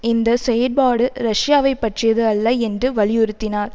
இந்த செயற்பாடு ரஷ்யாவை பற்றியது அல்ல என்று வலியுறுத்தினார்